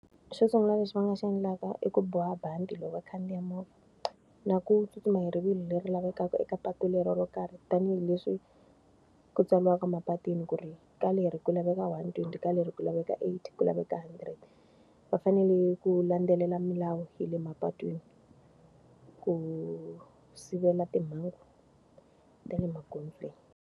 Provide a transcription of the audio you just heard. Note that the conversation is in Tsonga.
Xo sungula leswi va nga xi endlaka i ku boha bandi loko vakhandziya movha, na ku tsutsuma hi rivilo leri lavekaka eka patu leri ro karhi tanihileswi ku tsariwaka mapatwini ku ri ka leri ku laveka one twenty, ka leri ku laveka eighty, ku laveka hundred. Va fanele ku landzelela milawu ya le mapatwini ku sivela timhangu ta le maghondzweni.